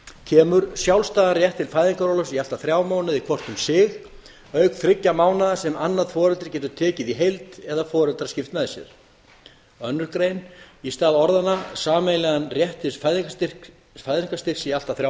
kemur sjálfstæðan rétt til fæðingarorlofs í allt að þrjá mánuði hvort um sig auk þriggja mánaða sem annað foreldrið getur tekið í heild eða foreldrar skipt með sér aðra grein í stað orðanna sameiginlegan rétt til fæðingarstyrks í allt að þrjá